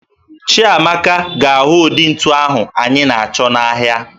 Chiamaka ga-ahụ ụdị ntu ahụ anyị na-achọ n'ahịa